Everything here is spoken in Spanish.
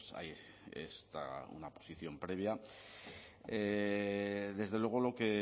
pues hay una posición previa desde luego